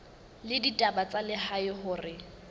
la ditaba tsa lehae hore